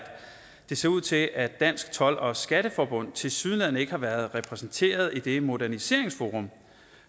det ser ud til at dansk told og skatteforbund tilsyneladende ikke har været repræsenteret i det moderniseringsforum